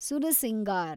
Sursingar